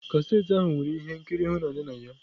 Cassette ahụ nwere ihe nkiri ịhụnanya na ya.